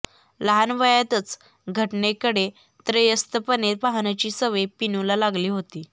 लहान वयातच घटनेकडे त्रयस्थपणे पाहण्याची सवय पिनूला लागली होती